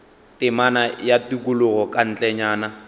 temana ya tikologo ka ntlenyana